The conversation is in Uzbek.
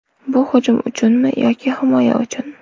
Bu hujum uchunmi yoki himoya uchun?